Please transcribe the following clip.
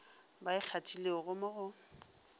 ba e kgathilego mo go